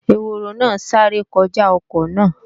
Ehoro náà sáré kọjá ọkọ náà